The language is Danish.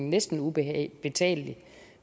næsten ubetalelig